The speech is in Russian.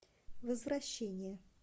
возвращение